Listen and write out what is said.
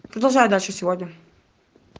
продолжаю дальше сегодня